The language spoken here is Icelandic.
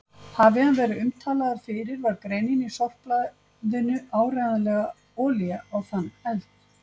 Hafi hann verið umtalaður fyrir var greinin í sorpblaðinu áreiðanleg olía á þann eld.